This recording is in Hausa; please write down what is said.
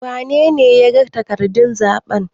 wanene ya yaga takardun zaɓen?